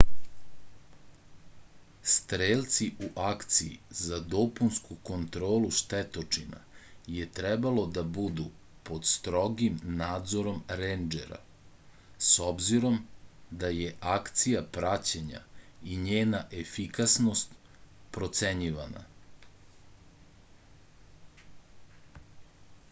strelci u akciji za dopunsku kontrolu štetočina je trebalo da budu pod strogim nadzorom rendžera s obzirom da je akcija praćena i njena efikasnost procenjivana